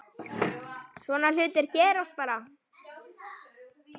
Svona hlutir gerast bara.